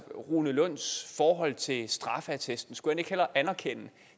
rune lunds forhold til straffeattesten skulle han ikke hellere anerkende